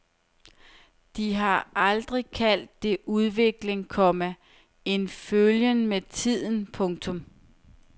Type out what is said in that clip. De har altid kaldt det udvikling, komma en følgen med tiden. punktum